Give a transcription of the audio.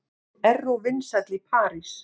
Erró vinsæll í París